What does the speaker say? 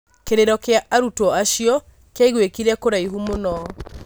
kĩrĩro kĩa arutwo acio kĩaiguĩkire kũraihu mũno.